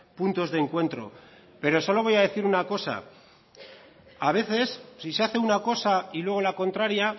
puntos de encuentro pero solo voy a decir una cosa a veces si se hace una cosa y luego la contraria